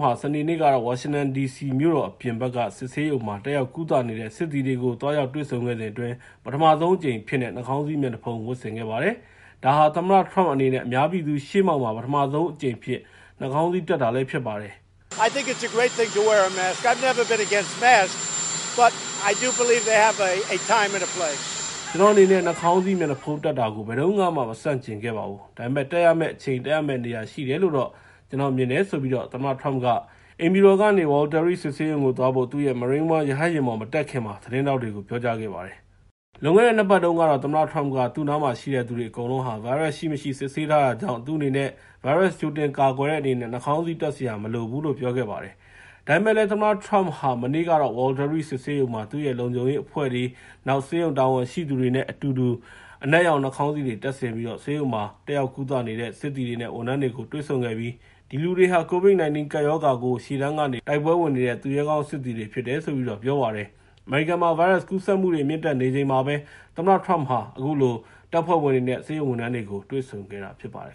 ဟာ စနေနေ့ကတော့ ဝါရှင်တန်ဒီစီမြို့တော် အပြင်ဘက်က စစ်ဆေးရုံမှာ တက်ရောက်ကုသနေတဲ့ စစ်သည်တွေကို သွားရောက်တွေ့ဆုံခဲ့စဉ်အတွင်း ပထမဆုံးအကြိမ်အဖြစ်နဲ့ နှာခေါင်းစည်း မျက်နှာဖုံး ဝတ်ဆင်ခဲ့ပါတယ်။ ဒါဟာ သမ္မတ Trump အနေနဲ့ အများပြည်သူ ရှေ့မှောက်မှာ ပထမဆုံးအကြိမ် နှာခေါင်းစည်းတပ်တာလည်း ဖြစ်ပါတယ်။ “ကျနော့်အနေနဲ့ နှာခေါင်းစည်းမျက်နှာဖုံး တပ်တာကို ဘယ်တုန်းကမှ မဆန့်ကျင်ခဲ့ပါဘူး။ ဒါပေမယ့် တပ်ရမယ့်အချိန်၊ တပ်ရမယ့်နေရာ ရှိတယ်လို့တော့ ကျနော်မြင်ပါတယ်” လို့ သမ္မတ Trump က အိမ်ဖြူတော်ကနေ Walter Reed စစ်ဆေးရုံကိုသွားဖို့ သူ့ရဲ့ Marine One ရဟတ်ယာဉ်ပေါ် မတက်ခင်မှာ သတင်းထောက်တွေကို ပြောကြားခဲ့ပါတယ်။ လွန်ခဲ့တဲ့ ၂ ပတ်တုန်းကတော့ သမ္မတ Trump က သူ့နားမှာရှိတဲ့သူတွေ အကုန်လုံးဟာ ဗိုင်းရပ်စ်ရှိမရှိ စစ်ဆေးထားတာကြောင့် သူ့အနေနဲ့ ဗိုင်းရပ်စ်ကြိုတင်ကာကွယ်တဲ့ အနေနဲ့ နှာခေါင်းစည်းတပ်စရာ မလိုဘူးလို့ ပြောခဲ့ပါတယ်။ ဒါပေမယ့်လည်း သမ္မတ Trump ဟာ မနေ့ကတော့ Walter Reed စစ်ဆေးရုံမှာ သူ့ရဲ့ လုံခြုံရေးအဖွဲ့တွေ၊ နောက် ဆေးရုံတာဝန်ရှိသူတွေနဲ့ အတူတူ အနက်ရောင် နှာခေါင်းစည်းတွေ တပ်ဆင်ပြီးတော့ ဆေးရုံမှာ တက်ရောက်ကုသနေတဲ့ စစ်သည်တွေနဲ့ ဝန်ထမ်းတွေကို တွေ့ဆုံခဲ့ပြီး ဒီလူတွေဟာ COVID-19 ကပ်ရောဂါကို ရှေ့တန်းက တိုက်ပွဲဝင်နေတဲ့ သူရဲကောင်းစစ်သည်တွေ ဖြစ်တယ်လို့ ပြောပါတယ်။ အမေရိကန်မှာ ဗိုင်းရပ်စ်ကူးစက်မှုတွေ မြင့်တက်နေချိန်မှာပဲ သမ္မတ Trump ဟာ တပ်ဖွဲ့ဝင်တွေနဲ့ ဆေးရုံဝန်ထမ်းတွေကို တွေ့ဆုံခဲ့တာ ဖြစ်ပါတယ်